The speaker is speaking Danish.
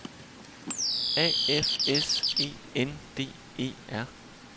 A F S E N D E R